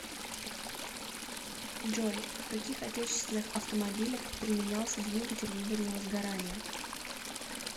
джой в каких отечественных автомобилях применялся двигатель внутреннего сгорания